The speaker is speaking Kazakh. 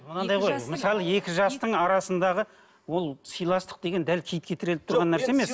мынандай ғой мысалы екі жастың арасындағы ол сыйластық деген дәл киітке тіреліп тұрған нәрсе емес